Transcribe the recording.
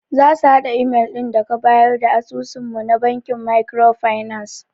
Zasu hada imel din daka bayar da asusun mu na bankin makiro finas.